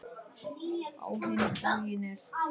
Á hinn bóginn er